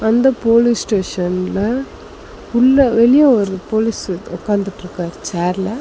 அந்தப் போலீஸ் ஸ்டேஷன்ல உள்ள வெளியே ஒரு போலீஸ் உக்காந்துட்டு இருக்காரு சேர்ல .